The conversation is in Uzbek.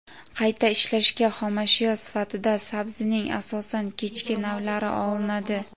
Qayta ishlashga xomashyo sifatida sabzining asosan kechki navlari olinadi.